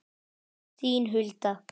Þín, Hulda.